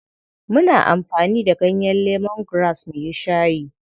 Muna amfani da ganyen lemongrass muyi shayi.